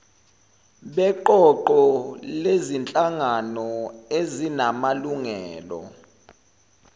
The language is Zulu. beqoqo lezinhlangano ezinamalungelo